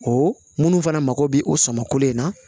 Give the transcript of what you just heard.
Ɔ minnu fana mako bɛ o sɔmin na